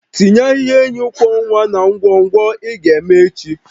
Tinye ahihia enyi kwọ nwa na ngwọngwọ ị ga-eme echi